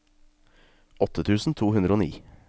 åtte tusen to hundre og ni